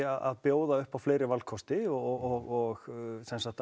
að bjóða upp á fleiri valkosti og